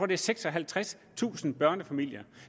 det er seksoghalvtredstusind børnefamilier